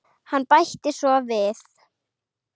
Hann bætti svo við